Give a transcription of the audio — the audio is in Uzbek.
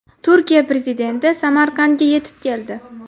Turkiya prezidenti Samarqandga yetib keldi.